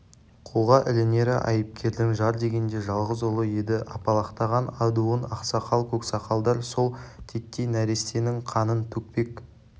қолға ілінері айыпкердің жар дегенде жалғыз ұлы еді апалақтаған адуын ақсақал-көксақалдар сол титтей нәрестенің қанын төкпек